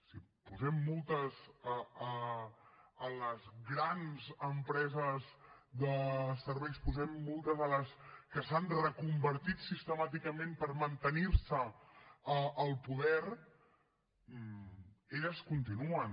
si posem multes a les grans empreses de serveis posem multes a les que s’han reconvertit sistemàticament per mantenir se al poder elles continuen